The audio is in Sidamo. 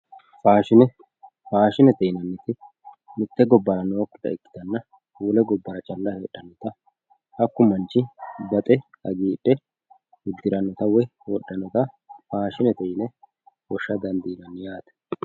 faashine faashinete yinanniti mitte gobbara nookkita ikkitanna wole gobbara calla heedhannota hakku manchi baxe hagiidhe uddirannota woyi wodhannota faashinete yine woshsha dandiinanni yaate.